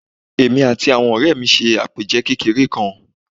Èmi àti àwon òré mi se àpèje kékeré kan